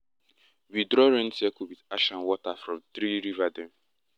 we draw rain circle with ash and water from three river dem.